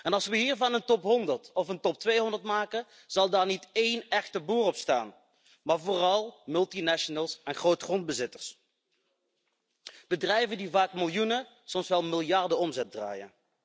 Als we hiervan een top 100 of een top 200 maken, zal daar niet één echte boer op staan, maar vooral multinationals en grootgrondbezitters, bedrijven die vaak miljoenen, soms wel miljarden omzet draaien.